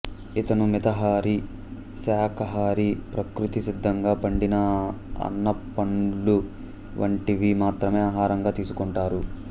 ఇతను మితాహారి శాకాహారి ప్రకృతి సిద్ధంగా పండిన అన పండ్లు వంటివి మాత్రమే ఆహారంగా తీసుకుంటారు